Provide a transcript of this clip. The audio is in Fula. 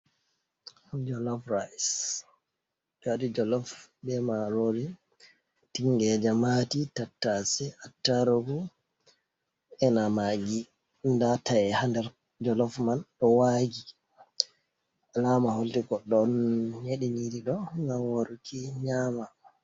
Jolof rais. Ɓe waɗi jolof be marori, tingeje maati, tattase, ataarugu ena maagi. Nda ta'e haa nder jolof man ɗo waagi, alaama holli goɗɗo on nyeɗi nyiri ɗo ngam waruki nyama.